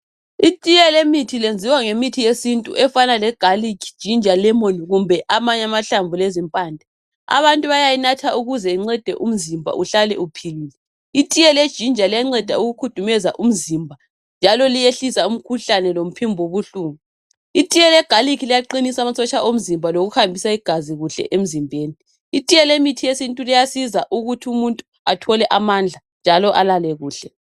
Itiye yemithi yenziwa ngemithi yesintu efana legarlic ginger lemon kumbe amanye amahlamvu lezimpande abantu bayayinatha ukuze umzimba uhlale uphilile itiye yeginger iyangceda ukukhudumeza umzimba njalo liyayehlisa umkhahlane lephimbo elibuhlungu itiye yegarlic iyaqinisa amasotsha awomzimba lokuhambisa igazi kuhle emzimbeni itiye yomuthi wesintu uyasiza ukuthi umuntu athole amandla njalo alale kuhle